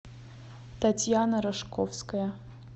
татьяна рожковская